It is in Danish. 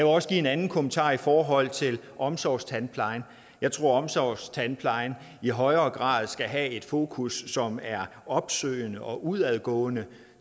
også give en anden kommentar i forhold til omsorgstandplejen jeg tror at omsorgstandplejen i højere grad skal have et fokus som er opsøgende og udadgående